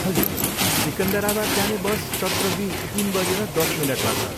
हजुर, सिकन्दराबाद जाने बस सत्र बी तिन बजेर दस मिनटमा छ।